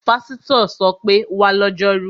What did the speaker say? Pásítọ̀ ṣọ pé, 'wá lọ́jọ́rú!'